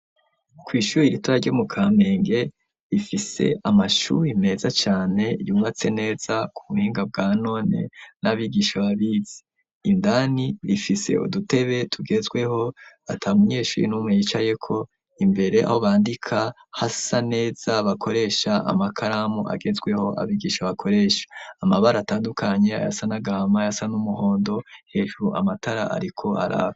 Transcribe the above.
Kwishure ritoya ryo mu Kamenge rifise amashure meza cane yubatse neza kubuhinga bwa none n'abigisha babizi, indani rifise udutebe tugezweho atamunyeshure numwe yicayeko imbere aho bandika hasa neza bakoresha amakaramu agezweho abigisha bakoresha, amabara atandukanye ayasa n'agahama, ayasa n'umuhondo hejuru amatara ariko araka.